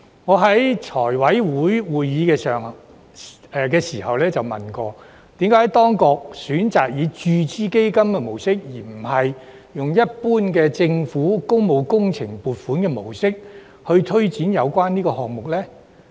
我在財委會會議上曾詢問，為何當局選擇以注資基金的模式，而不是用一般政府工務工程撥款的模式來推展有關項目。